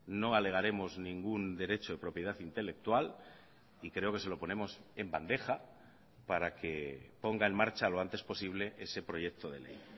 no alegaremos ningún derecho de propiedad intelectual y creo que se lo ponemos en bandeja para que ponga en marcha lo antes posible ese proyecto de ley